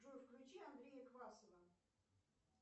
джой включи андрея квасова